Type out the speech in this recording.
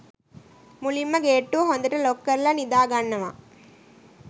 මුලින්ම ගේට්ටුව හොඳට ලොක් කරලා නිදා ගන්නවා.